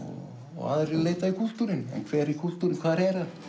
og aðrir leita í kúltúrinn en hver er kúltúrinn hvar